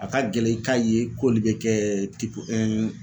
A ka gɛlɛn i k'a ye k'olu be kɛ tipu ɛn